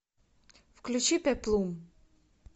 включи пеплум